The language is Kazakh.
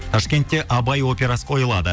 ташкентте абай операсы қойылады